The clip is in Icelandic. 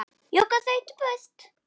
Jóka þaut burt.